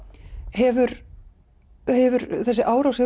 hefur hefur þessi árás